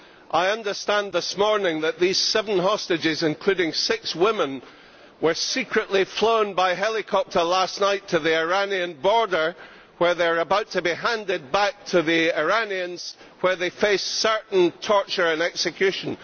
I understand this morning that these seven hostages, including six women, were secretly flown by helicopter last night to the Iranian border where they are about to be handed back to the Iranians and will face certain torture and execution.